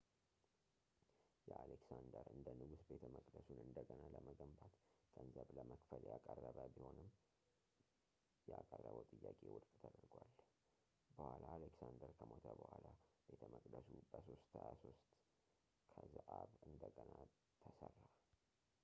አሌክሳንደር እንደ ንጉሥ ቤተመቅደሱን እንደገና ለመገንባት ገንዘብ ለመክፈል ያቀረበ ቢሆንም ያቀረበው ጥያቄ ውድቅ ተደርጓል በኋላ አሌክሳንደር ከሞተ በኋላ ቤተ መቅደሱ በ 323 ከዘአበ እንደገና ተሠራ